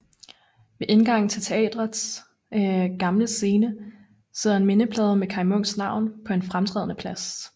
Ved indgangen til teatres Gamle Scene sidder en mindeplade med Kaj Munks navn på en fremtrædende plads